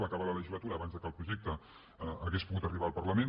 va acabar la legislatu·ra abans que el projecte hagués pogut arribar al par·lament